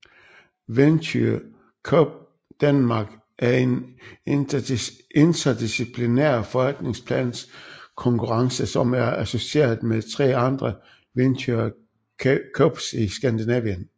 Venture Cup Danmark er en interdisciplinær forretningsplankonkurrence som er associeret med tre andre Venture Cups i Skandinavien